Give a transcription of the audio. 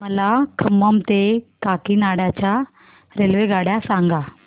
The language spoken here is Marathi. मला खम्मम ते काकीनाडा च्या रेल्वेगाड्या सांगा